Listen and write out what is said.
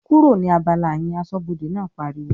"kúrò ní abala yẹn!", aṣọ́bọdè náà pariwo